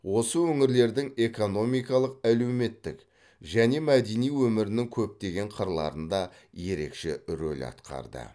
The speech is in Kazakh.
осы өңірлердің экономикалық әлеуметтік және мәдени өмірінің көптеген қырларында ерекше рөл атқарды